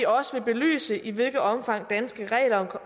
også vil belyse i hvilket omfang danske regler